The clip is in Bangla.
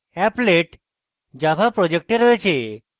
আমাদের applet java project রয়েছে